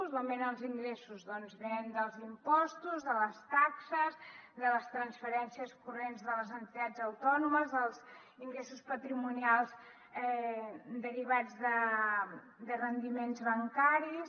d’on venen els ingressos doncs venen dels impostos de les taxes de les transferències corrents de les entitats autònomes dels ingressos patrimonials derivats de rendiments bancaris